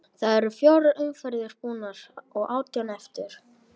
Það eru fjórar umferðir búnar og átján eftir.